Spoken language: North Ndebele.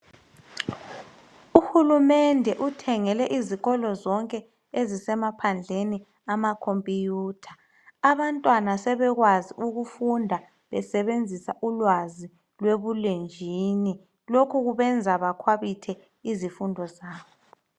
Uhulumende uthengele izikolo zonke ezisemaphandleni ama computer abantwana sebekwazi ukufunda besebenzisa ulwazi lwebulenjini lokhu kubenza bakhwabithe izifundo zabo